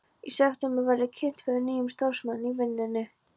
Í september var ég kynnt fyrir nýjum starfsmanni í vinnunni.